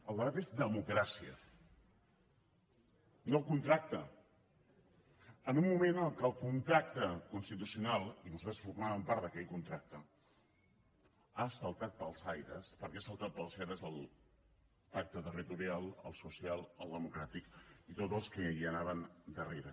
el debat és democràcia no contracte en un moment en què el contracte constitucional i nosaltres formàvem part d’aquell contracte ha saltat pels aires perquè han saltat pels aires el pacte territorial el social el democràtic i tots els que hi anaven darrere